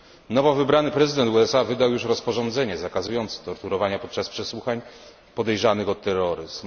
Nowo wybrany prezydent USA wydał juz rozporządzenie zakazujące torturowania podczas przesłuchań podejrzanych o terroryzm.